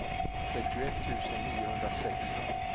trettioett tusen niohundrasex